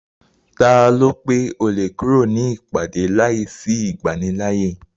Taló pé o lè kúrò nínú ìpàdé láìsí ìgbanilááyè?